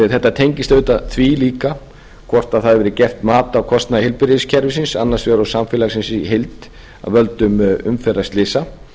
þetta tengist auðvitað því líka hvort það hefur verið gert mat á kostnaði heilbrigðiskerfisins annars vegar og samfélagsins í heild af völdum umferðarslysa